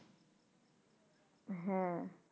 হ্যাঁ,